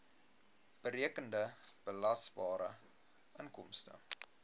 berekende belasbare inkomste